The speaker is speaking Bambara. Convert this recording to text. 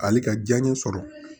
Hali ka diya n ye sɔrɔ